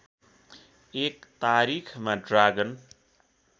१ तारिखमा ड्रागन